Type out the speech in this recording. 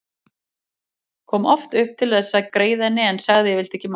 Kom oft upp til þess að greiða henni en sagði yfirleitt ekki margt.